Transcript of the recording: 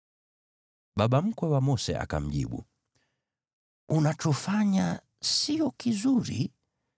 Baba mkwe wa Mose akamjibu, “Unachofanya sio kizuri.